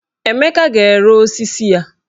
Emeka ga-ere osisi ya.